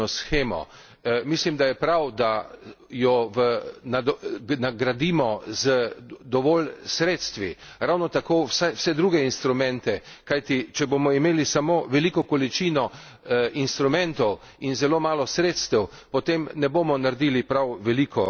Mislim, da je prav, da jo nadgradimo z dovolj sredstvi, ravno tako vse druge instrumente, kajti če bomo imeli samo veliko količino instrumentov in zelo malo sredstev, potem ne bomo naredili prav veliko za mlade.